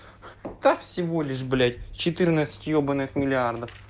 да всего лишь блять четырнадцать ебаных миллиардов